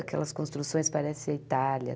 Aquelas construções que parecem a Itália.